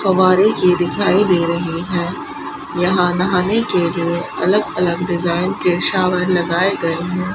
फब्बारे की दिखाई दे रही है यहां नहाने के लिए अलग अलग डिजाइन के शावर लगाए गए हैं।